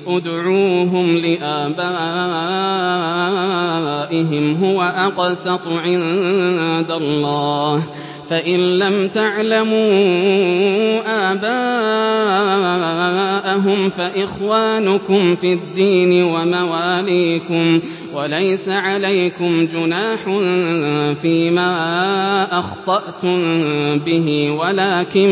ادْعُوهُمْ لِآبَائِهِمْ هُوَ أَقْسَطُ عِندَ اللَّهِ ۚ فَإِن لَّمْ تَعْلَمُوا آبَاءَهُمْ فَإِخْوَانُكُمْ فِي الدِّينِ وَمَوَالِيكُمْ ۚ وَلَيْسَ عَلَيْكُمْ جُنَاحٌ فِيمَا أَخْطَأْتُم بِهِ وَلَٰكِن